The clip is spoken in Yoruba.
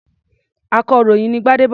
Akọ̀ròyìn ni Gbádébọ̀.